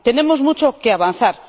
Tenemos mucho que avanzar.